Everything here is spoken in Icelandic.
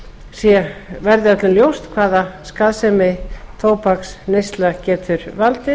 það verði öllum ljóst hvaða skaðsemi tóbaksneysla getur valdið